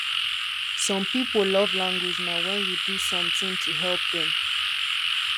some pipo love language na wen you do something to help dem